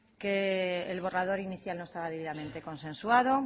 que el borrador inicial no estaba debidamente consensuado